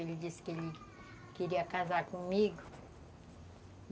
Ele disse que ele queria casar comigo.